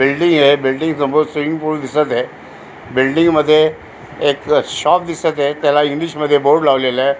बिल्डिंगय building समोर swimming pool दिसतय building मध्ये एक शॉप दिसतंय त्याला इंग्लिशमध्ये बोर्ड लावालेलाय.